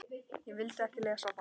Ég vildi ekki lesa það.